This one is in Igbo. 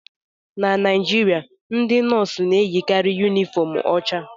Na Naijiria, ndị nọọsụ na-eyikarị yunifọm ọcha